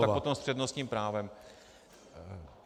Tak potom s přednostním právem.